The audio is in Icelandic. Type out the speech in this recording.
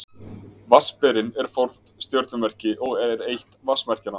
Vatnsberinn er fornt stjörnumerki og er eitt vatnsmerkjanna.